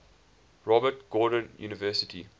robert gordon university